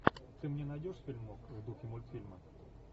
ты мне найдешь фильмок в духе мультфильма